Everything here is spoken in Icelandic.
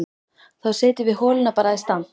Þá setjum við holuna bara í stand!